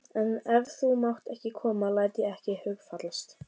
En ef þú mátt ekki koma læt ég ekki hugfallast.